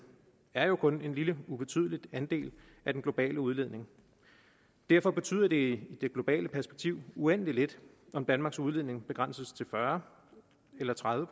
er jo kun en lille ubetydelig andel af den globale udledning derfor betyder det i det globale perspektiv uendelig lidt om danmarks udledning begrænses til fyrre eller tredive